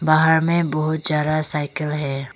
बाहर में बहुत जरा साइकल है।